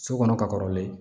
So kɔnɔ ka kɔrɔlen